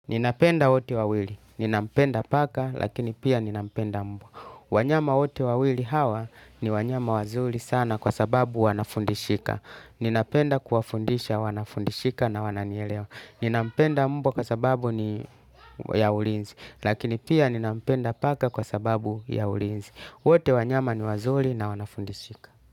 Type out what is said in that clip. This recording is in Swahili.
Ninapenda wote wawili, ninampenda paka lakini pia ninampenda mbwa. Wanyama wote wawili hawa ni wanyama wazuri sana kwa sababu wanafundishika. Ninapenda kuwafundisha wanafundishika na wananielewa. Ninampenda mbwa kwa sababu ni ya ulinzi, lakini pia ninampenda paka kwa sababu ya ulinzi. Wote wanyama ni wazuri na wanafundishika.